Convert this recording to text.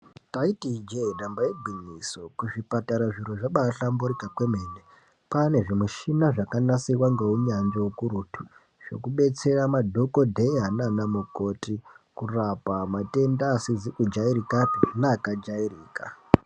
Ndaiti iinje damba igwinyiso kuzvipatara zviro zvabahlamburika kwemene kwane zvimishina zvakanasirwa ngeunyanzvi ukurutu zvekubetsera madhokodheya nana mukoti kurapa matenda asizi kujairikapi neakajairika.